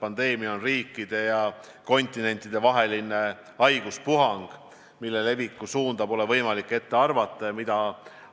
Pandeemia on riikide- ja kontinentidevaheline haiguspuhang, mille leviku suunda pole võimalik ette arvata ja mida